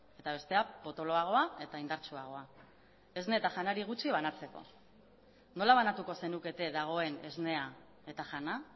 eta bestea potoloagoa eta indartsuagoa esne eta janari gutxi banatzeko nola banatuko zenukete dagoen esnea eta jana